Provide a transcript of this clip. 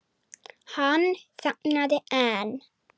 Hann þagnaði en